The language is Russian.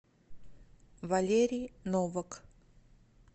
валерий новак